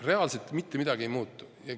Reaalselt mitte midagi ei muutu.